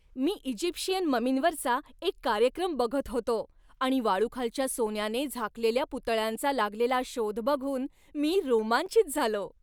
मी Egyptian ममींवरचा एक कार्यक्रम बघत होतो आणि वाळूखालच्या सोन्याने झाकलेल्या पुतळ्यांचा लागलेला शोध बघून मी रोमांचित झालो.